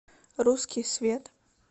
русский свет